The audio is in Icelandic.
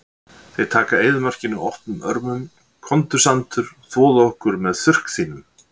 Þeir taka eyðimörkinni opnum örmum, komdu sandur, þvoðu okkur með þurrk þínum.